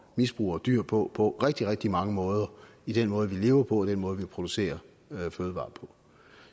misbruger dyr på på rigtig rigtig mange måder i den måde vi lever på og den måde vi producerer fødevarer på